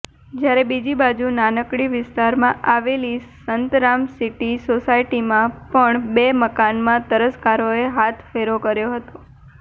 જ્યારે બીજીબાજુ નાનીકડી વિસ્તારમાં આવેલી સંતરામસીટી સોસાયટીમાં પણ બે મકાનમાં તસ્કરોએ હાથ ફેરો કર્યો હતો